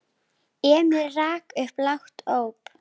Emil rak upp lágt óp.